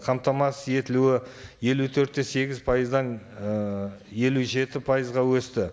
қамтамасыз етілуі елу төрт те сегіз пайыздан ыыы елу жеті пайызға өсті